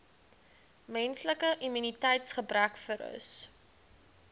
menslike immuniteitsgebrekvirus